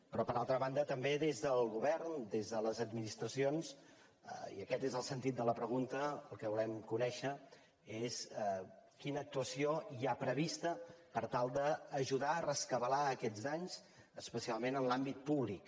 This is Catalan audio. però per altra banda també des del govern des de les administracions i aquest és el sentit de la pregunta el que volem conèixer és quina actuació hi ha prevista per tal d’ajudar a rescabalar aquests danys especial·ment en l’àmbit públic